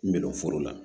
N bɛ don foro la